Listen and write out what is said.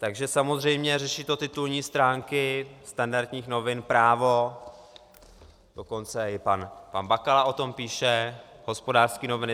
Takže samozřejmě řeší to titulní stránky standardních novin, Právo, dokonce i pan Bakala o tom píše, Hospodářské noviny.